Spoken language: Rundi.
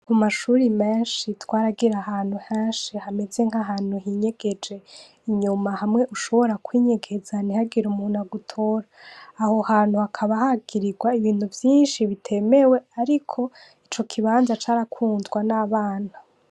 Ku mashure menshi twaragira henshi hameze nk'ahantu hinyegeje ,inyuma hamwe ushobora kwinyegeza ntihagire umuntu agutora, aho hantu hakaba hagirirwa ibintu vyinshi bitemewe ariko ico kibanza carakundwa n'abana.